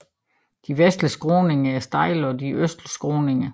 De vestlige skråninger er stejle og de sydøstlige skråninger